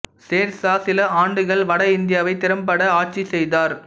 செர்சா சில ஆண்டுகள் வட இந்தியாவை திறம்பட ஆட்சி செய்தார்